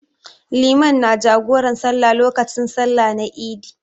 Limami na jagoran sallah lokacin sallah na Eid.